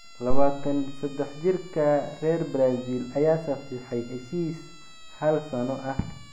23-jirka reer Brazil ayaa saxiixay heshiis hal sano ah.